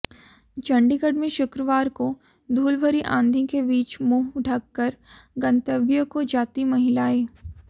चंडीगढ़ में शुक्रवार को धूल भरी आंधी के बीच मुंह ढककर गंतव्य को जाती महिलाएं